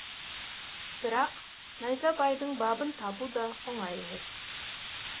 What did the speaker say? бірақ найзабайдың бабын табу да оңай емес